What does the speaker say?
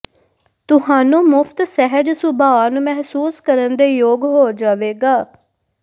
ਤੁਹਾਨੂੰ ਮੁਫ਼ਤ ਸਹਿਜ ਸੁਭਾਅ ਨੂੰ ਮਹਿਸੂਸ ਕਰਨ ਦੇ ਯੋਗ ਹੋ ਜਾਵੇਗਾ